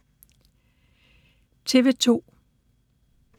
TV 2